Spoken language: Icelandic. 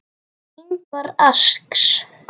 Ingvar asks.